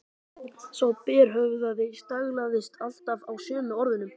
Sá berhöfðaði staglaðist alltaf á sömu orðunum